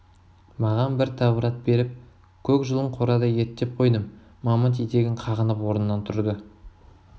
маған бір тәуір ат тауып бер көк жұлын қорада ерттеп қойдым мамыт етегін қағынып орнынан тұрды